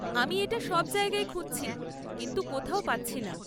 আমি এটা সব জায়গায় খুঁজছি কিন্তু কোথাও পাচ্ছি না।